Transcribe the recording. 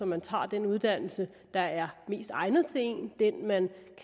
man tager den uddannelse der er mest egnet til en den man